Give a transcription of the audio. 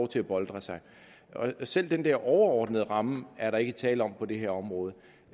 til at boltre sig selv den der overordnede ramme er der ikke tale om på det her område